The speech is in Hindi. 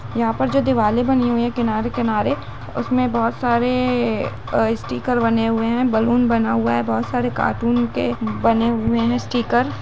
यहाँ पर जो दिवाले बनी हुई हैं किनारे किनारे उसमे बहुत सारे अ स्टीकर बने हुए हैं बलून बना हुआ है बहुत सारे कार्टून के बने हुए हैं स्टिकर।